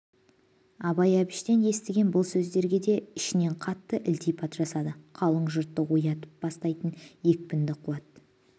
абай әбіштен естіген бұл сөздерге де ішінен қатты ілтипат жасады қалың жұртты оятып бастайтын екпінді қуат